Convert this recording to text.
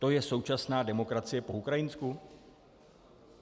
To je současná demokracie po ukrajinsku?